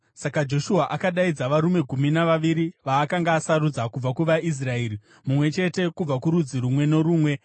Saka Joshua akadaidza varume gumi navaviri vaakanga asarudza kubva kuvaIsraeri, mumwe chete kubva kurudzi rumwe norumwe,